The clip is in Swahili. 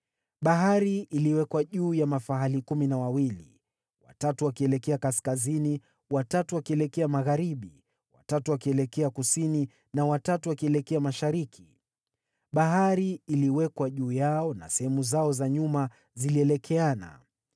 Bahari iliwekwa juu ya mafahali kumi na wawili, watatu wakielekea kaskazini, watatu wakielekea magharibi, watatu wakielekea kusini na watatu wakielekea mashariki. Bahari iliwekwa juu yao na sehemu zao za nyuma zilielekeana.